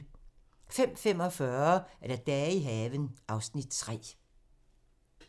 05:45: Dage i haven (Afs. 3)